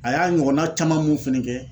A y'a ɲɔgɔnna caman mun fɛnɛ kɛ